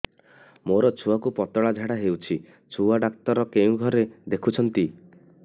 ମୋର ଛୁଆକୁ ପତଳା ଝାଡ଼ା ହେଉଛି ଛୁଆ ଡକ୍ଟର କେଉଁ ଘରେ ଦେଖୁଛନ୍ତି